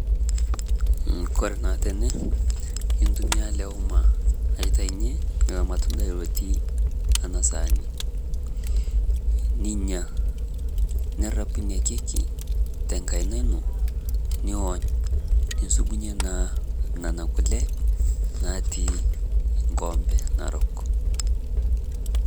Kore naa tene iitumia ele uuma aitaiyee eloo lmatundai otii ena saani ninyaa. Neraapu enia kekii te nkaina enoo niisubunye naa nena kulee natii nkombee naarok.